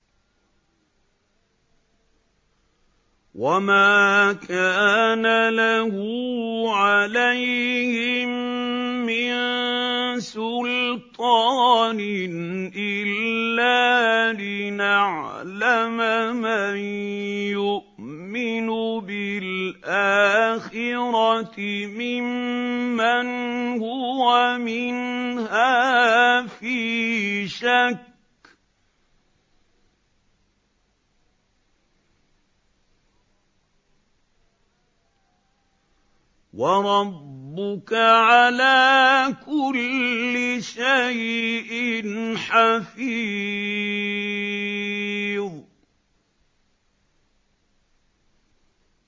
وَمَا كَانَ لَهُ عَلَيْهِم مِّن سُلْطَانٍ إِلَّا لِنَعْلَمَ مَن يُؤْمِنُ بِالْآخِرَةِ مِمَّنْ هُوَ مِنْهَا فِي شَكٍّ ۗ وَرَبُّكَ عَلَىٰ كُلِّ شَيْءٍ حَفِيظٌ